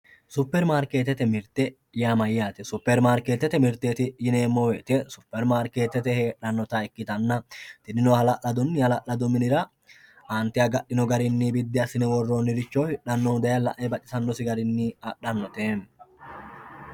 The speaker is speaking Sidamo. supermariketete mirte yaa mayaate superimarketete mirteti yineemo woyi supermariketete heexxannota ikkitana tinino hala'ladunni hala'ladu minira aante agaxino garinni biddi assinne worronniricho hixxannohu daye la'e baxisanosi garinni axannote yaate